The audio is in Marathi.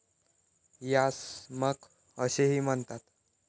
यास 'मख ' असेही म्हणतात.